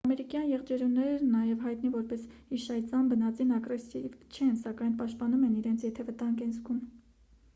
ամերիկյան եղջերուներն նաև հայտնի որպես իշայծյամ բնածին ագրեսիվ չեն սակայն պաշտպանում են իրենց եթե վտանգ են զգում: